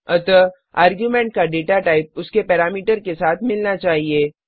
अतः आर्ग्युमेंट का data type उसके पैरामीटर के साथ मिलना चाहिए